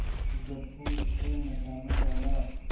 गप्पू उसे नचाने लगा